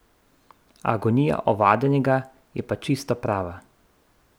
Agonija ovadenega je pa čisto prava.